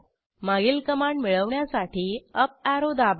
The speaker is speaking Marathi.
मागील कमांड मिळवण्यासाठी अप ऍरो दाबा